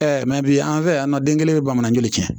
bi an fɛ yan nɔ den kelen bɛ bamanankan joli kɛ